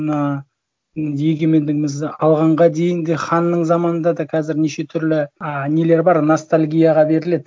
мына енді егемендігімізді алғанға дейінгі ханның заманында да қазір неше түрлі ы нелер бар ностальгияға беріледі